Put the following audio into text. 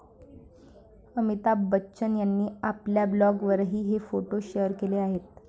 अमिताभ बच्चन यांनी आपल्या ब्लॉगवरही हे फोटो शेअर केले आहेत.